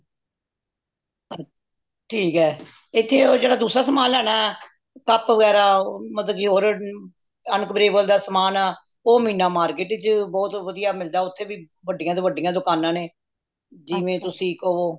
ਠੀਕ ਏ ਏਥੇ ਉਹ ਜੇੜਾ ਦੁੱਜਾ ਸਮਾਨ ਲੈਣਾ CUP ਵਗੈਰਾਹ ਮਤਲਬ ਕਿ ਹੋਰ unbreakable ਦਾ ਸਮਾਨ ਉਹ ਮੀਨਾ market ਚ ਬਹੁਤ ਵਧੀਆ ਮਿਲਦਾ ਉਥੇ ਵੀ ਵੱਡੀਆਂ ਤੋਂ ਵੱਡੀਆਂ ਦੁਕਾਨਾਂ ਨੇ ਜਿਵੇਂ ਤੁਸੀ ਕਵੋ